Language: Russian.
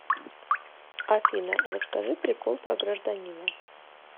афина расскажи прикол про гражданина